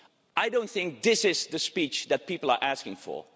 I don't think this is the speech that people are asking for.